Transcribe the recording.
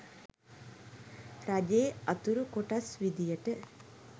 රජයේ අතුරු කොටස් විදියට